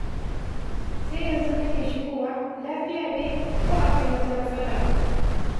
Sai yanzu kake shigowa? Lafiya dai, ko akwai wata matsala?